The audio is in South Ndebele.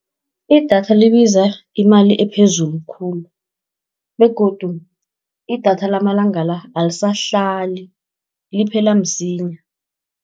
Idatha libiza imali ephezulu khulu, begodu idatha lamalanga la, alisahlali liphela msinyana.